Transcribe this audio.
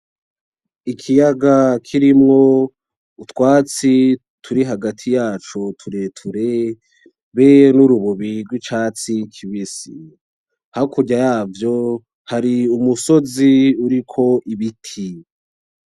Ikiyaga kirimo utwatsi turi hagati yaco tureture dufise nurubobi rwicatsi kibisi hakurya yavyo hari umusozi uriko ibiti.